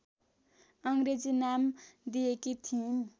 अङ्ग्रेजी नाम दिएकी थिइन